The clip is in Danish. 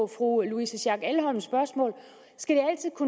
fru louise schack elhoms spørgsmål skal